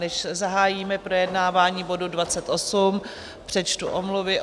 Než zahájíme projednávání bodu 28, přečtu omluvy.